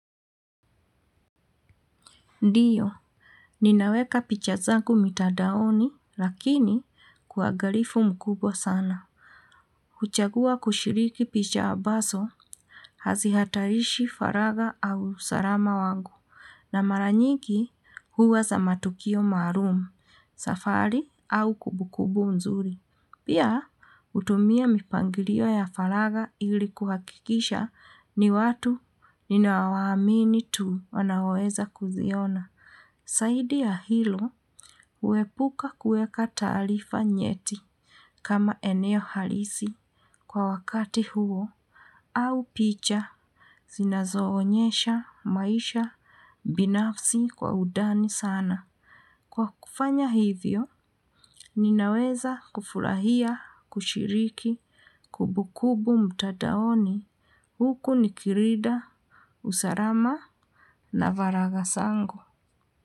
Ndiyo, ninaweka picha zangu mitandaoni, lakini kwaagalifu mkubwa sana. Kuchagua kushiriki picha abaso, hazi hatarishi faraga au salama wangu, na maranyiki huwa za matukio maarum, safari au kubukubu mzuri. Pia, utumia mipangilio ya faraga ili kuhakikisha ni watu ninao waamini tu wanao weza kuziona. Saidi ya hilo huepuka kueka taalifa nyeti kama eneo halisi kwa wakati huo au picha zinazo onyesha maisha binafsi kwa udani sana. Kwa kufanya hivyo ninaweza kufurahia kushiriki kubukubu mtadaoni huku nikirida usarama na varaga sango.